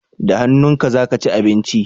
Da hannunka za ka ci abinci?